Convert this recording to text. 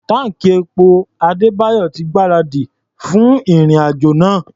Táǹkì epo Adébáyọ̀ ti gbáradì fún ìrìn-àjò náà.